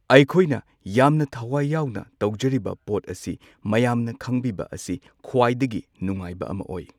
ꯑꯩꯈꯣꯏꯅ ꯌꯥꯝꯅ ꯊꯋꯥꯏ ꯌꯥꯎꯅ ꯇꯧꯖꯔꯤꯕ ꯄꯣꯠ ꯑꯁꯤ ꯃꯌꯥꯝꯅ ꯈꯪꯕꯤꯕ ꯑꯁꯤ ꯈ꯭ꯋꯥꯏꯗꯒꯤ ꯅꯨꯉꯥꯏꯕ ꯑꯃ ꯑꯣꯏ꯫